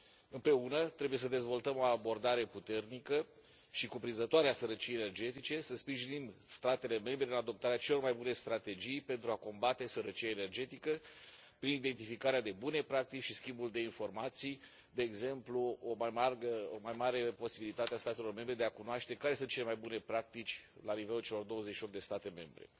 Împreună, trebuie să dezvoltăm o abordare puternică și cuprinzătoare a sărăciei energetice, să sprijinim statele membre în adoptarea celor mai bune strategii pentru a combate sărăcia energetică prin identificarea de bune practici și schimbul de informații, de exemplu o mai mare posibilitate a statelor membre de a cunoaște care sunt cele mai bune practici la nivelul celor 28 de state membre.